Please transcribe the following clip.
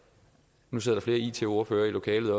nu sidder flere it ordførere i lokalet